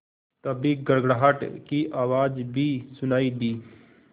तभी गड़गड़ाहट की आवाज़ भी सुनाई दी